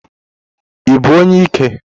Ị bụ onye ike?